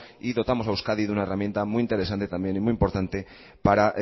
y dotamos a euskadi de una herramienta muy interesante también y muy importante para